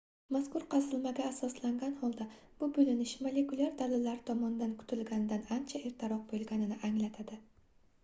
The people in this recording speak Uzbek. mazkur qazilmaga asoslangan holda bu boʻlinish molekulyar dalillar tomonidan kutilganidan ancha ertaroq boʻlganini anglatadi